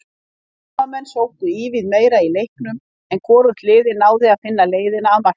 Heimamenn sóttu ívið meira í leiknum en hvorugt liðið náði að finna leiðina að markinu.